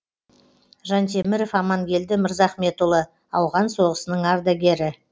жантеміров амангелді мырзахметұлы ауған соғыстың ардагері